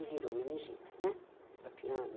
E virou meningite, né? Tinha